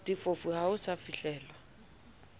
diphofu ha ho sa fihlelwa